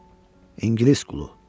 İngilis qulu.